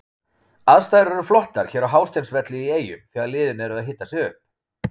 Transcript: Aðstæður eru flottar hér á Hásteinsvelli í Eyjum þegar liðin eru að hita sig upp.